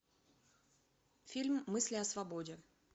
фильм мысли о свободе